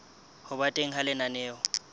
ho ba teng ha lenaneo